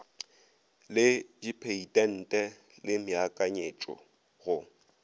le dipheitente le meakanyetšo go